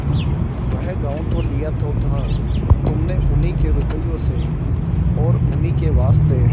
वह गॉँव लिया तो था तुमने उन्हीं के रुपये से और उन्हीं के वास्ते